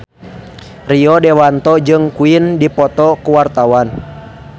Rio Dewanto jeung Queen keur dipoto ku wartawan